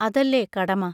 അതല്ലേ കടമ